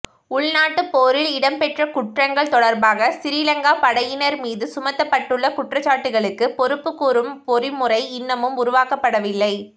உள்நாட்டுப் போரில் இடம்பெற்ற குற்றங்கள் தொடர்பாக சிறிலங்கா படையினர் மீது சுமத்தப்பட்டுள்ள குற்றச்சாட்டுகளுக்கு பொறுப்புக்கூறும் பொறிமுறை இன்னமும் உருவாக்கப்படவில்லை